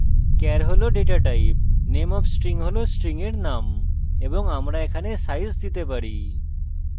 char হল ডেটাtype name of the string হল string char name এবং আমরা এখানে আকার দিতে পারি